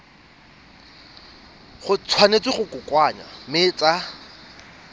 tshwanetse go kokoanngwa mme tsa